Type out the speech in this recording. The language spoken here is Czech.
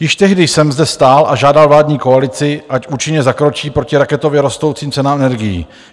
Již tehdy jsem zde stál a žádal vládní koalici, ať účinně zakročí proti raketově rostoucím cenám energií.